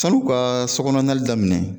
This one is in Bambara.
San'u kaa sɔ kɔnɔ nali daminɛ